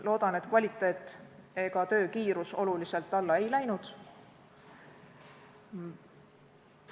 Loodan, et kvaliteet ega töö kiirus oluliselt alla ei läinud.